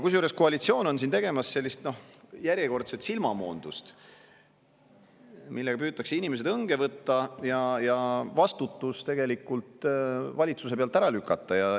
Kusjuures koalitsioon on tegemas järjekordset silmamoondust, millega püütakse inimesed õnge võtta ja vastutus valitsuse pealt ära lükata.